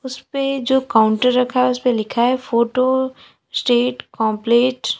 उसपे जो काउंटर रखा है उसपे लिखा है फोटो स्टेट कॉम्प्लेट ।